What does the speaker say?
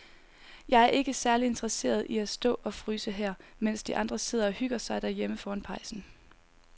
Jeg er ikke særlig interesseret i at stå og fryse her, mens de andre sidder og hygger sig derhjemme foran pejsen.